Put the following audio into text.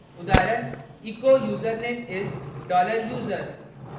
* उदाहरण echo username is $user